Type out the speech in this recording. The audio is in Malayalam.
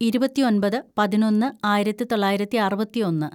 ഇരുപത്തിയൊമ്പത് പതിനൊന്ന് ആയിരത്തിതൊള്ളായിരത്തി അറുപത്തിയൊന്ന്‌